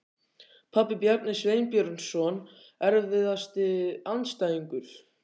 Pabbi, Bjarni Sveinbjörnsson Erfiðasti andstæðingur?